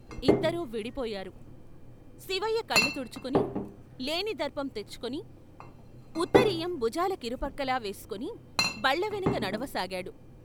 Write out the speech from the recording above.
ఇద్దరూ విడిపోయారు శిపయ్య కళ్ళు తుడుచుకుని, లేని దర్పం తెచ్చుకొని ఉత్తరీయం భుజాల కిరుప్రక్కలా వేసుకొని బళ్ళవెనక నడవసాగాడు.